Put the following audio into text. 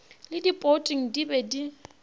le poting di be di